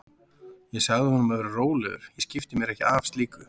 Ég sagði honum að vera rólegur, ég skipti mér ekki af slíku.